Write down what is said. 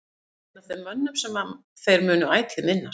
Hann er einn af þeim mönnum sem þeir munu ætíð minnast.